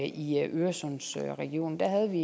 i øresundsregionen der havde vi